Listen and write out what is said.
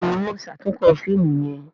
Béèni wón ṣatunkọ fíìmù yén.